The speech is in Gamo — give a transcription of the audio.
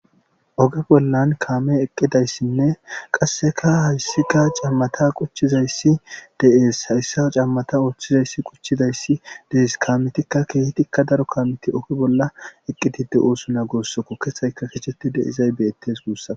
Oge bollan kaame eqqidayssinne qasseka hayssika cammata quchchizayssi de7ees hayssa cammata oothchizayssi quchidayssi dees kaamitikka keetikka daro kaamiti oge bolla eqqitide oosuna gossoko kethayka kecheti deizay beettes guussa..